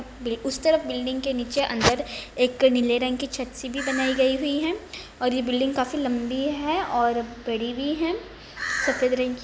उस तरफ बिल्डिंग के नीचे अंदर एक नीले रंग की छत सी भी बनाई गई हुई है और ये बिल्डिंग काफी लम्बी है और बड़ी भी है सफेद रंग की --